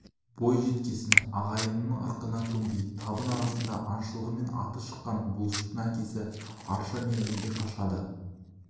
бойжеткесін ағайынның ырқына көнбей табын арасында аңшылығымен аты шыққан бұлыштың әкесі арша мергенге қашады